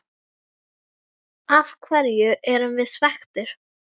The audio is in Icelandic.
Af hverju erum við svekktir?